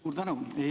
Suur tänu!